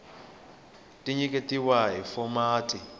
ti nyiketiwa hi fomati ya